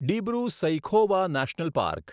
Dibru Saikhowa national park